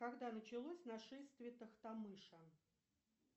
когда началось нашествие тохтамыша